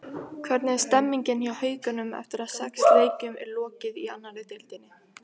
Hvernig er stemmingin hjá Haukunum eftir að sex leikjum er lokið í annarri deildinni?